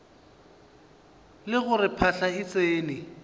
le gore phahla e tsene